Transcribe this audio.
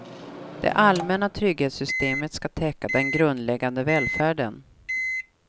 Det allmänna trygghetssystemet ska täcka den grundläggande välfärden.